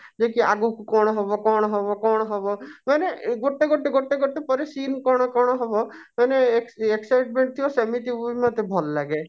ଯାଇକି ଆଗକୁ କଣ ହବ କଣ ହବ କଣ ହବ ମାନେ ଗୋଟେ ଗୋଟେ ଗୋଟେ ପରେ scene କଣ କଣ ହବ ମାନେ ex excitement ଥିବ ସେମିତି ହିଁ ମୋତେ ଭଲ ଲାଗେ